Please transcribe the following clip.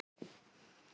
Fúsi var alltaf með